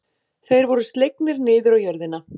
Þeir voru slegnir niður á jörðina.